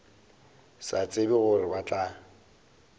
sa tsebe gore ba tla